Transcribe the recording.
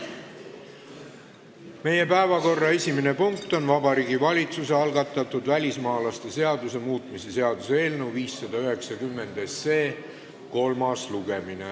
Meie päevakorra esimene punkt on Vabariigi Valitsuse algatatud välismaalaste seaduse muutmise seaduse eelnõu 590 kolmas lugemine.